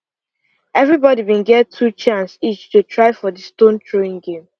every body been get two chance each to try for the stone throwing game